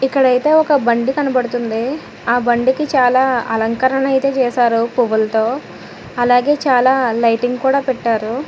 ఇక్కడైతే ఒక బండి కనబడుతుంది ఆ బండికి చాలా అలంకరణ అయితే చేశారో పువ్వులతో అలాగే చాలా లైటింగ్ కూడా పెట్టారు